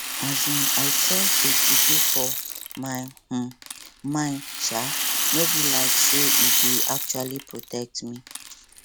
um i trust dey juju for my um mind sha no be like say e dey actually protect me